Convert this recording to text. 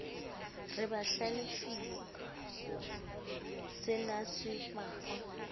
re ba hlalefile senase pakwa